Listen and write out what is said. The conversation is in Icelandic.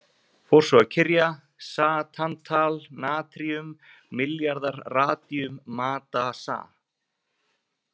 Fór svo að kyrja: Sa tantal natríum milljarðar radíum Ma Da Sa.